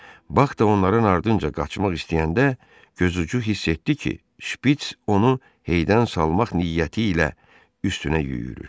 Bax da onların ardınca qaçmaq istəyəndə gözucu hiss etdi ki, şpiç onu heydən salmaq niyyəti ilə üstünə yüyürür.